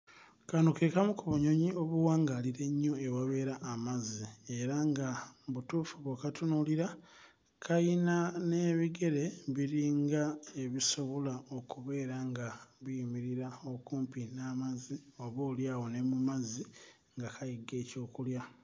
Kano ke kamu ku bunyonyi obuwawangaalira ennyo ewabeera amazzi era nga mu butuufu bw'okatunuulira kayina n'ebigere biringa ebisobola okubeera nga biyimirira okumpi n'amazzi 'oboolyawo ne mu mazzi nga kayigga ebyokulya.